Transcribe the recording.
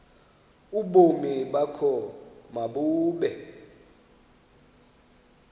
ubomi bakho mabube